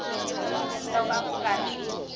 loko a ku nga ri